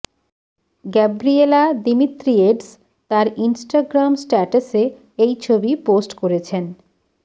Gabriela Demetriades তাঁর Instagram স্ট্যাটাসে এই ছবি পোস্ট করেছেন